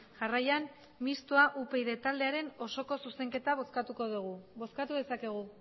jarraian mistoa upyd taldearen osoko zuzenketa bozkatuko dugu bozkatu dezakegu